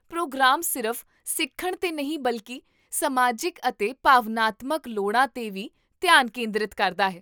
programme ਸਿਰਫ਼ ਸਿੱਖਣ 'ਤੇ ਹੀ ਨਹੀਂ ਬਲਕਿ ਸਮਾਜਿਕ ਅਤੇ ਭਾਵਨਾਤਮਕ ਲੋੜਾਂ 'ਤੇ ਵੀ ਧਿਆਨ ਕੇਂਦਰਤ ਕਰਦਾ ਹੈ